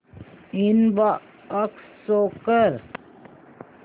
inbox show कर